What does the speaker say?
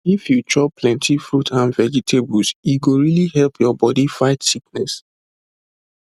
if you chop plenty fruit and vegetable e go really help your body fight sickness